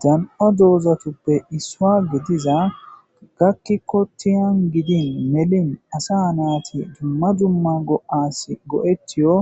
dan7o doozatuppe issuwa gidiza gakki kotiyan gidin melin asa naati dumma dumma go7assi go7ettiyo